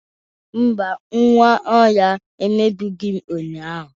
Mba, Nwaohia emegbughi m ụnyahụ.